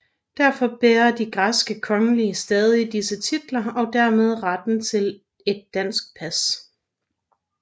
Derfor bærer de græske kongelige stadig disse titler og dermed retten til et dansk pas